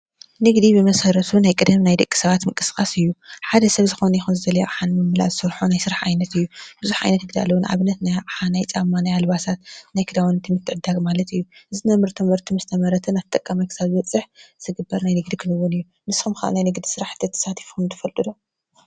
ንግዲ ብመሰረቱ ናይ ቀደም ናይ ደቂ ሰባት ምንቅስቃስ እዩ። ሓደ ሰብ ዝኾነ ይኹን ዝደለዮ ኣቅሓ ንምምላእ ዝሰርሖ ዓይነተ ስራሕ እዩ። ቡዙሕ ዓይነት ንግዲ ኣሎ። ንኣብነት:- ናይ ጫማ፣ ናይ ኣልባሳት፣ ናይ ክዳውንቲ ምትዕድዳግ ማለት እዩ። እዚ ነምርቶ ምህርቲ ምስ ተመረተ ናብ ተጠቃማይ ክሳብ ዝበፅሕ ዝግበር ናይ ንግዲ ክንዉን እዩ። ንስኹም ከ ናይ ንግዲ ስራሕቲ ተሳቲፍኩም ትፈልጡ ዶ?